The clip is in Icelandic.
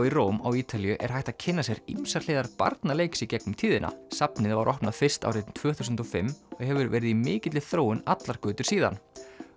í Róm á Ítalíu er hægt að kynna sér ýmsar hliðar barnaleiks í gegnum tíðina safnið opnaði fyrst árið tvö þúsund og fimm og hefur verið í mikilli þróun allar götur síðan